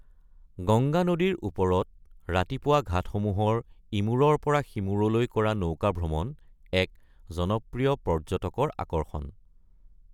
গংগা নদীৰ ওপৰত ৰাতিপুৱা ঘাটসমূহৰ ইমূৰৰ পৰা সিমূৰলৈ কৰা নৌকা ভ্ৰমণ এক জনপ্ৰিয় পৰ্য্যটকৰ আকৰ্ষণ।